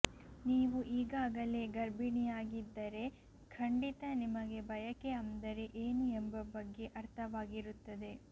ನೀವು ಈಗಾಗಲೇ ಗರ್ಭಿಣಿಯಾಗಿದ್ದರೆ ಖಂಡಿತ ನಿಮಗೆ ಬಯಕೆ ಅಂದರೆ ಏನು ಎಂಬ ಬಗ್ಗೆ ಅರ್ಥವಾಗಿರುತ್ತದೆ